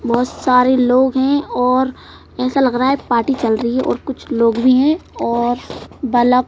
बहुत सारे लोग हैं और ऐसा लग रहा है पार्टी चल रही है और कुछ लोग भी हैं और बला--